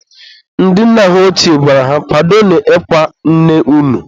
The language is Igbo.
ndị nna ha ọchie gwara ha "kwadonu ịkwa nne unu!"